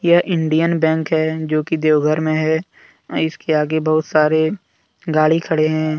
यह Indian bank है जो की देवघर में है इसके आगे बहुत सारे गाड़ी खड़े हैं।